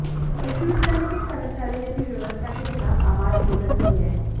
विश्वविद्यालय के एक कर्मचारी ने भी व्यवस्था के खिलाफ आवाज बुलंद की है